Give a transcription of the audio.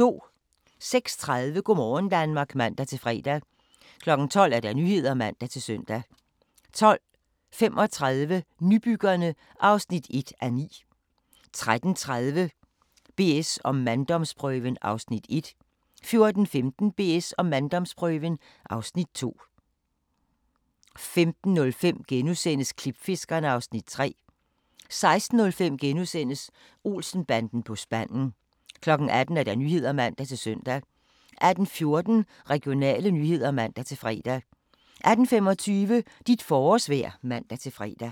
06:30: Go' morgen Danmark (man-fre) 12:00: Nyhederne (man-søn) 12:35: Nybyggerne (1:9) 13:30: BS & manddomsprøven (Afs. 1) 14:15: BS & manddomsprøven (Afs. 2) 15:05: Klipfiskerne (Afs. 3)* 16:05: Olsen-banden på spanden * 18:00: Nyhederne (man-søn) 18:14: Regionale nyheder (man-fre) 18:25: Dit forårsvejr (man-fre)